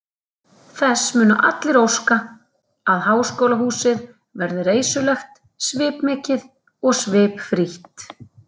Þess munu allir óska, að háskólahúsið verði reisulegt, svipmikið og svipfrítt.